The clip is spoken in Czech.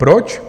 Proč?